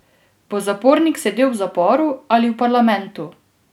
Bo zapornik sedel v zaporu ali v parlamentu?